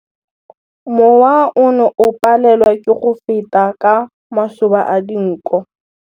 Mowa o ne o palelwa ke go feta ka masoba a dinko.